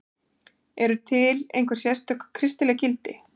Eru til einhver sérstök kristileg gildi?